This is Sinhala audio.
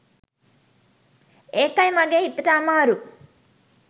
එකයි මගේ හිතට අමාරු